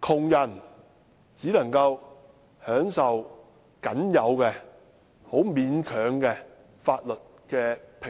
窮人可以享受的待遇，只是僅有的、很勉強的法律平等。